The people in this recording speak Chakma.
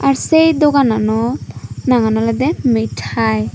aro se dogano nagan olode mithai.